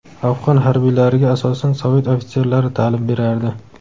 Afg‘on harbiylariga asosan Sovet ofitserlari ta’lim berardi.